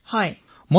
তৰন্নুম খানঃ হয়